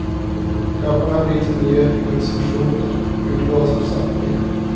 Gamla favoriter och nya improvisationer utlovas från samtliga.